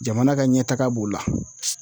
Jamana ka ɲɛtaga b'o la.